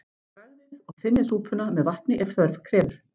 Bragðið og þynnið súpuna með vatni ef þörf krefur.